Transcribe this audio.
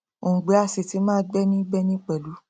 òngbẹ á sì ti máa gbẹni gbẹni pẹlú